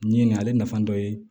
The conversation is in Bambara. N ye nka ale nafa dɔ ye